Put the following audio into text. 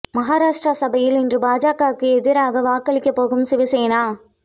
மகாராஷ்டிரா சட்டசபையில் இன்று பாஜக அரசுக்கு எதிராக வாக்களிக்கப் போகும் சிவசேனா